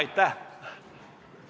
Aitäh!